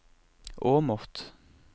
Åmot